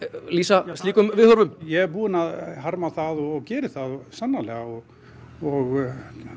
lýsa slíkum viðhorfum ég er búinn að harma það og geri það sannarlega og og